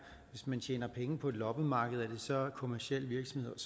hvis man tjener penge på et loppemarked er det så kommerciel virksomhed og